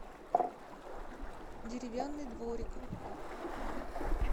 деревянный дворик